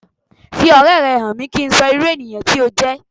Fi ọ̀rẹ́ rẹ han mi, ki n sí sọ irú ènìyãn ti o jẹ́